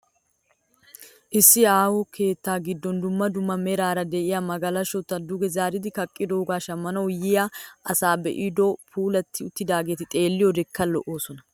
Issi aaho keettaa giddon dumma dumma meraara de'iya magalashota duge zaaridi kaqqidoogaa shammanawu yiya asay be'iyoode puulatti uttidaageeti xeelliyoodekka lo'oosona.